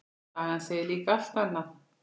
Sagan segir líka allt annað.